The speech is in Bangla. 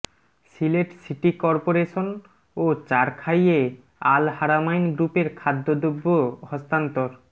সিলেট সিটি কর্পোরেশন ও চারখাইয়ে আল্ হারামাইন গ্রুপের খাদ্য দ্রব্য হস্তান্তর